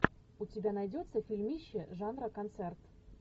у тебя найдется фильмище жанра концерт